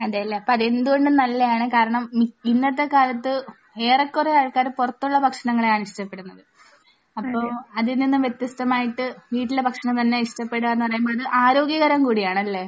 അതെയല്ലേ. അപ്പോൾ അത് എന്തുകൊണ്ടും നല്ലതാണ്. കാരണം ഇന്നത്തെ കാലത്ത് ഏറെകുറെ ആൾകാർ പുറത്തുള്ള ഭക്ഷണങ്ങളെയാണ് ഇഷ്ടപ്പെടുന്നത്. അപ്പോൾ അതിൽ നിന്നും വ്യത്യസ്തമായിട്ട് വീട്ടിലെ ഭക്ഷണം തന്നെ ഇഷ്ടപ്പെടുകയെന്ന് പറയുമ്പോൾ ആരോഗ്യകരം കൂടിയാണ്. അല്ലെ?